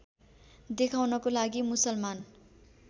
देखाउनको लागि मुसलमान